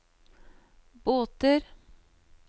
båter